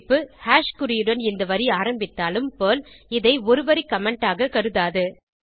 குறிப்பு ஹாஷ் குறியுடன் இந்த வரி ஆரம்பித்தாலும் பெர்ல் இதை ஒரு வரி கமெண்ட் ஆக கருத்தாது